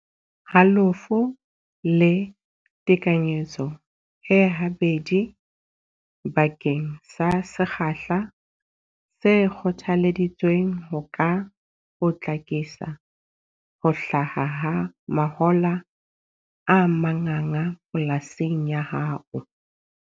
Halofo le tekanyetso e habedi bakeng sa sekgahla se kgothaleditsweng ho ka potlakisa ho hlaha ha mahola a manganga polasing ya hao.